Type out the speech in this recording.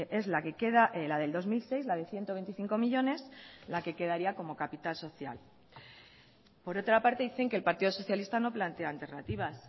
es la que queda la del dos mil seis la de ciento veinticinco millónes la que quedaría como capital social por otra parte dicen que el partido socialista no plantea alternativas